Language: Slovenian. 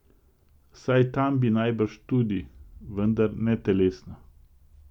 Saj tam bi najbrž tudi, vendar ne telesno.